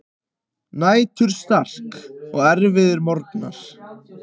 Næturslark og erfiðir morgnar.